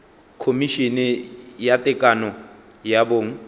khomišene ya tekano ya bong